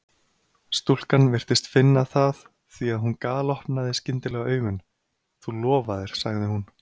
Stúlkan virtist finna það því að hún galopnaði skyndilega augun: Þú lofaðir sagði hún.